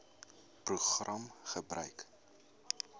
program gebruik